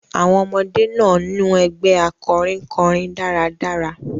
Àwọn ọmọdé náà niun ẹgbẹ́ akọrin kọrin dáradára.